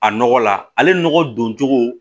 A nɔgɔ la ale nɔgɔ don cogo